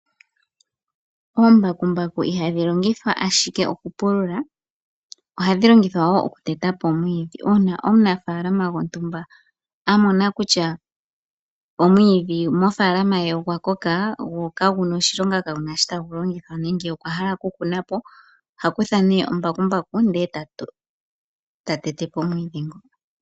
Oombakumbaku ihadhi longithwa ashike okupulula, ohadhi longithwa wo okuteta po omwiidhi. Uuna omunafaalama gwontumba a mona kutya omwiidhi moofaalama ye ogwa koka gwo kagu na oshilonga, ka guna sho tagu longithwa nenge okwa hala okukuna po oha kutha nee ombakumbaku ndele ta tete po omwiidhi ngo.